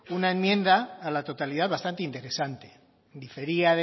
una enmienda a la totalidad bastante interesante difería